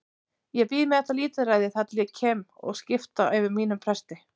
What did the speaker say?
Ég bíð með þetta lítilræði þar til ég kem heim og skrifta fyrir mínum presti.